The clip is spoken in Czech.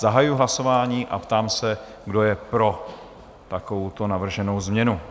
Zahajuji hlasování a ptám se, kdo je pro takovouto navrženou změnu?